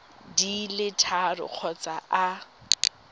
di le tharo kgotsa a